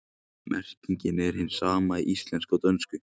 Merkingin er hin sama í íslensku og dönsku.